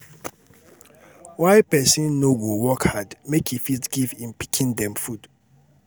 why pesin no go work hard make e fit give im pikin dem food.